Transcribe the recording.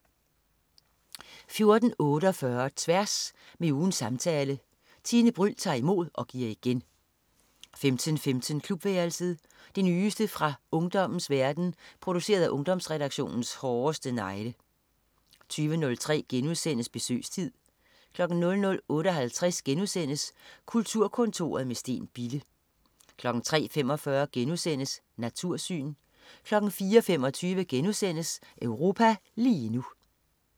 14.48 Tværs. Med ugens samtale. Tine Bryld tager imod og giver igen 15.15 Klubværelset. Det nyeste nye fra ungdommens verden, produceret af Ungdomsredaktionens hårdeste negle 20.03 Besøgstid* 00.58 Kulturkontoret med Steen Bille* 03.45 Natursyn* 04.25 Europa lige nu*